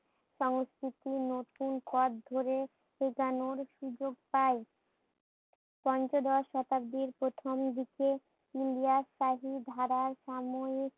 সংস্কৃতি নতুন পথ ধরে শেখানোর সুযোগ পাই। পঞ্চদশ শতাব্দীর প্রথম দিকে ইলিয়াস সাহির ধারার সাময়িক